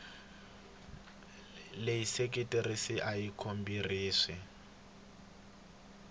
leyi seketeriweke a yi khorwisi